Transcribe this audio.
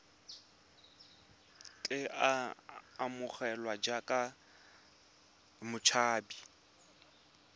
tle a amogelwe jaaka motshabi